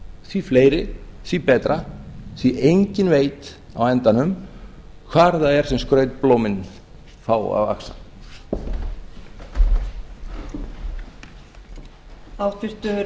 því fleiri því betra því enginn veit á endanum hvar það er sem skrautblómin fá að vaxa